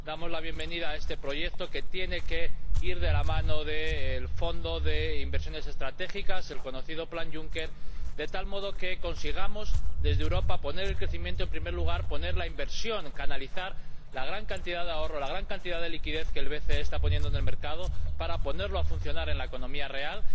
Damos la bienvenida a este proyecto, que tiene que ir de la mano del Fondo Europeo para Inversiones Estratégicas, el conocido como Plan Juncker, de tal modo que consigamos desde Europa poner en primer lugar el crecimiento y la inversión, y canalizar la gran cantidad de ahorro, la gran cantidad de liquidez que el BCE está poniendo en el mercado, para ponerlo a funcionar en la economía real.